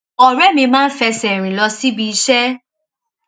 òré mi máa ń fẹsè rìn lọ síbi iṣé